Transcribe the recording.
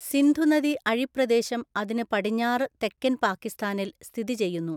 സിന്ധു നദി അഴിപ്രദേശംഅതിനു പടിഞ്ഞാറ് തെക്കൻ പാകിസ്ഥാനിൽ സ്ഥിതിചെയ്യുന്നു.